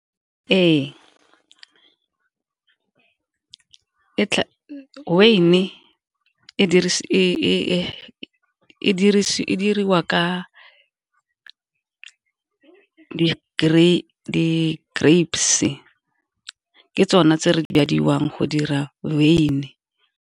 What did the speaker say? Ee, weine e diriwa ka di-grapes ke tsone tse re di bidiwang go dira wyn.